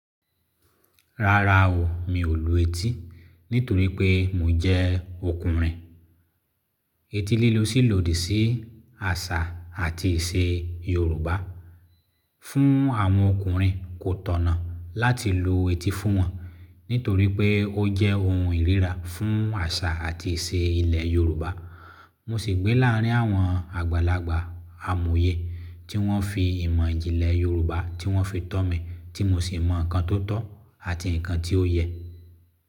Rárá o, mi ò lu ẹti nítorí pé mo jẹ́ ọkùnrin. Eti lílo sì lòdì sí àṣà àti ìṣe Yorùbá. Fún àwọn ọkùnrin kò tọ̀nà láti lo eti fún wọn nítorí pé ó jẹ́ ohun ìríra fún àṣà àti ìṣe ilẹ̀ Yorùbá. Mo sì gbé láàrín àwọn àgbàlagbà amòye tí wọ́n fi ìmọ̀ ìjìnlẹ̀ Yorùbá tí wọ́n fi tọ́ mi tí mo sì mọ ǹkan tó tọ́ àti ǹkan tí ó yẹ.